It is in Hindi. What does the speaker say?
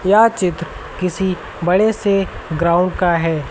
यह चित्र किसी बड़े से ग्राउंड का है।